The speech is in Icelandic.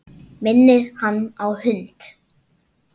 Minnir hann á hund.